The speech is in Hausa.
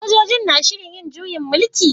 Sojoji na shirin yin juyin mulki?